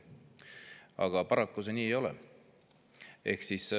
Aga paraku see nii ei ole.